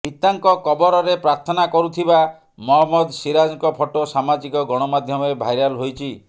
ପିତାଙ୍କ କବରରେ ପ୍ରାର୍ଥନା କରୁଥିବା ମହମ୍ମଦ ସିରାଜଙ୍କ ଫଟୋ ସାମାଜିକ ଗଣମାଧ୍ୟମରେ ଭାଇରାଲ ହୋଇଛି